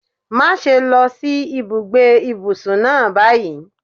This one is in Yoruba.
Má ṣe lọ sí ibùgbé ìbùsùn náà báyìí.